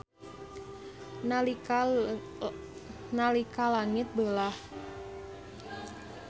Nalika langit beulah.